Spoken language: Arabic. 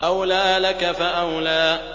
أَوْلَىٰ لَكَ فَأَوْلَىٰ